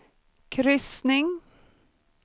kryssning